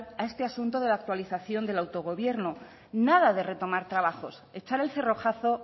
a este asunto de la actualización del autogobierno nada de retomar trabajos echar el cerrojazo